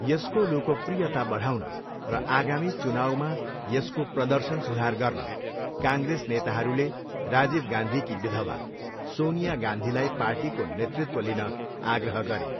यसको लोकप्रियता बढाउन र आगामी चुनाउमा यसको प्रदर्शन सुधार गर्न, काङ्ग्रेस नेताहरूले राजीव गान्धीकी विधवा, सोनिया गान्धीलाई पार्टीको नेतृत्व लिन आग्रह गरे।